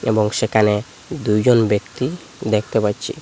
এবং সেখানে দুইজন ব্যক্তি দেখতে পাচ্ছি।